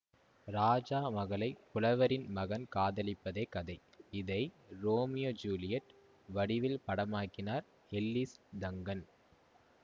ராஜா மகளை புலவரின் மகன் காதலிப்பதே கதை இதை ரோமியோ ஜூலியட் வடிவில் படமாக்கினார் எல்லிஸ் டங்கன்